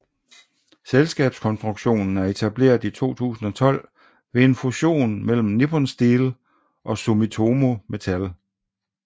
Selskabskonstruktionen er etableret i 2012 ved en fusion mellem Nippon Steel og Sumitomo Metal